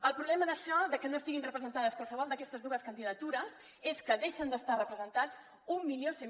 el problema d’això que no estiguin representades qualsevol d’aquestes dues candidatures és que deixen d’estar representats mil cent